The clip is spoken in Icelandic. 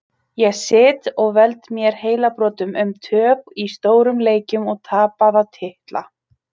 Ég sit og veld mér heilabrotum um töp í stórum leikjum og tapaða titla.